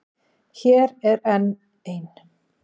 Hér er enn ein.